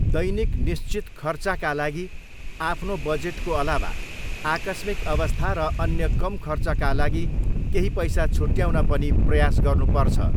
दैनिक निश्चित खर्चका लागि आफ्नो बजेटको अलावा आकस्मिक अवस्था र अन्य कम खर्चका लागि केही पैसा छुट्याउन पनि प्रयास गर्नुपर्छ।